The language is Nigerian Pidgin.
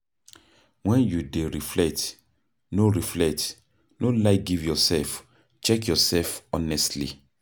When you dey reflect, no reflect, no lie give yourself, check your self honestly